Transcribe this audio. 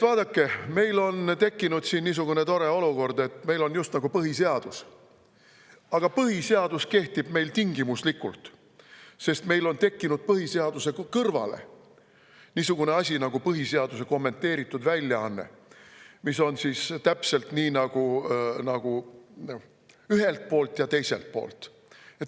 Vaadake, meil on tekkinud siin niisugune tore olukord, et meil just nagu on põhiseadus, aga põhiseadus kehtib meil tingimuslikult, sest meil on tekkinud põhiseaduse kõrvale niisugune asi nagu põhiseaduse kommenteeritud väljaanne, mis on täpselt nii, et nagu ühelt poolt ja teiselt poolt.